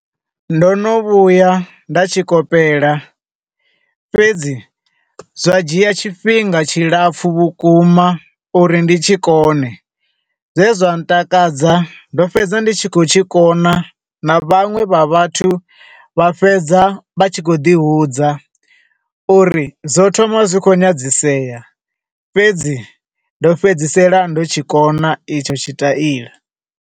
Ndo no vhuya nda tshikopela, fhedzi zwa dzhia tshifhinga tshi lapfu vhukuma uri ndi tshi kone. zwe zwa ntakadza ndo fhedza ndi tshi khou tshi kona, na vhaṅwe vha vhathu, vha fhedza vha tshi khou ḓi hudza uri zwo thoma zwi khou nyadzisea fhedzi ndo fhedzisela ndo tshi kona itsho tshi taila.